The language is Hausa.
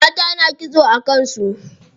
Mata na kitso a kan su.